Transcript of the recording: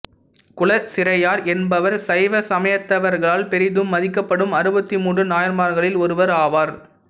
குலச்சிறையார் என்பவர் சைவ சமயத்தவர்களால் பெரிதும் மதிக்கப்படும் அறுபத்து மூன்று நாயன்மார்களில் ஒருவர் ஆவார்